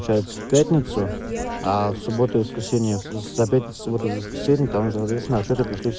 общаются пятницу а в субботу воскресенье со пятница суббота воскресенье там же сначала пришли